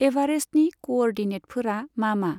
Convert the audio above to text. एभारेस्टनि क'अरडिनेटफोरा मा मा?